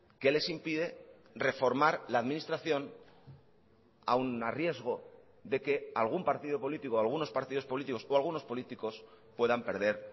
qué les impide reformar la administración aun a riesgo de que algún partido político algunos partidos políticos o algunos políticos puedan perder